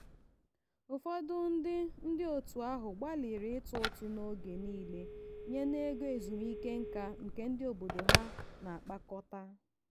ụfọdụ ndị ndị otu ahụ gbalịrị itụ ụtụ n'oge niile nye n'ego ezumike nká nke obodo ha na-akpakọta.